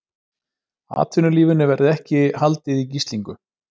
Atvinnulífinu verði ekki haldið í gíslingu